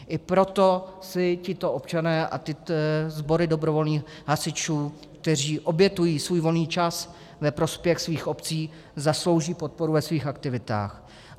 I proto si tito občané a tyto sbory dobrovolných hasičů, kteří obětují svůj volný čas ve prospěch svých obcí, zaslouží podporu ve svých aktivitách.